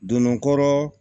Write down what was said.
Don dɔ